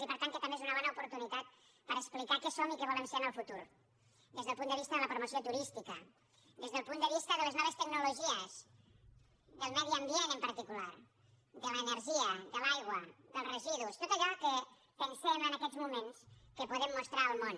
i per tant que també és una bona oportunitat per explicar què som i què volem ser en el futur des del punt de vista de la promoció turística des del punt de vista de les noves tecnologies del medi ambient en particular de l’energia de l’aigua dels residus tot allò que pensem en aquests moments que podem mostrar al món